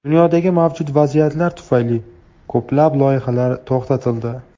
Dunyodagi mavjud vaziyat tufayli ko‘plab loyihalar to‘xtatildi.